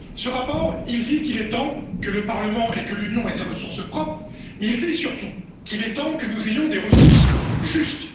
Ce rapport dit qu'il est temps que le Parlement et que l'Union européenne aient des ressources propres, mais il dit surtout qu'il est temps que nous ayons des ressources justes.